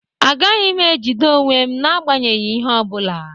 Agaghị m ejide onwe m n'agbanyeghị ihe ọ bụla